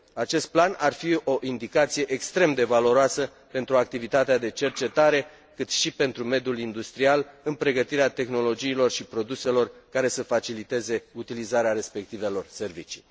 Acest plan ar fi o indicație extrem de valoroasă pentru activitatea de cercetare, cât și pentru mediul industrial în pregătirea tehnologiilor și produselor care să faciliteze utilizarea respectivelor servicii.